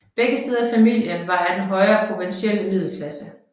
Begge sider af familien var af den højere provinsielle middelklasse